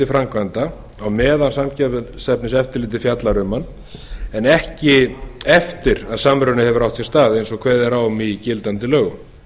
framkvæmda á meðan samkeppniseftirlitið fjallar um hann en ekki eftir að samruni hefur átt sér stað eins og kveðið er á um í gildandi lögum